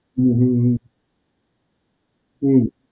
હમ્મ હમ્મ હમ્મ, હમ્મ.